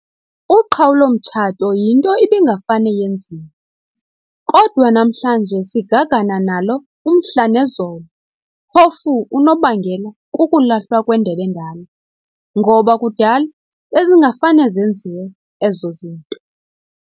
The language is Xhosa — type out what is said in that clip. Uqhawulo mtshato yinto ibingafane yenziwe, kodwa namhlanje sigagana nalo umhla nezolo phofu unobangela kukulahlwa kwendeb'endala, ngoba kudala bezingafane zenziwe ezo zinto.